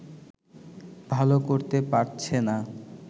ভালো করতে পারছেনা